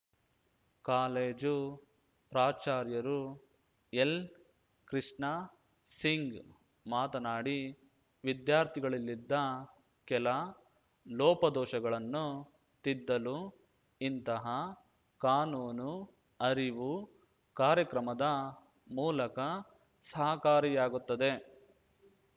college ಪ್ರಾಚಾರ್ಯರು ಎಲ್‌ಕೃಷ್ಣಾ Singh ಮಾತನಾಡಿ ವಿದ್ಯಾರ್ಥಿಗಳಲ್ಲಿದ್ದ ಕೆಲ ಲೋಪದೋಷಗಳನ್ನು ತಿದ್ದಲು ಇಂತಹ ಕಾನೂನು ಅರಿವು ಕಾರ್ಯಕ್ರಮದ ಮೂಲಕ ಸಹಕಾರಿಯಾಗುತ್ತದೆ